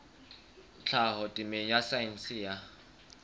tlhaho temeng ya saense ya